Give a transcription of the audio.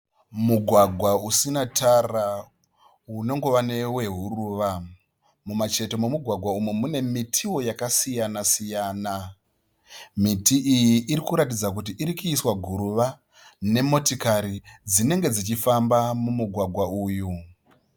Mugwagwa usina tara. Unongova newehuruva. Mumucheto memugwagwa uyu mune mitiwo yakasiyana siyana. Miti iyi irikuratidza kuti irikuiswa guruva nemotokari dzinenge dzichifamba mumugwagwa uyu.